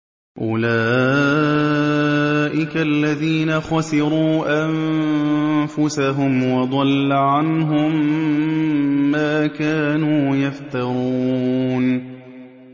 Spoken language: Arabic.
أُولَٰئِكَ الَّذِينَ خَسِرُوا أَنفُسَهُمْ وَضَلَّ عَنْهُم مَّا كَانُوا يَفْتَرُونَ